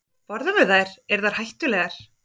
Borðum við þær, eru þær hættulegar?